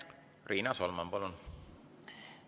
Riina Solman, palun!